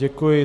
Děkuji.